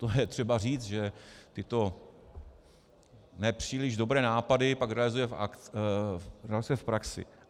To je třeba říct, že tyto nepříliš dobré nápady pak realizuje v praxi.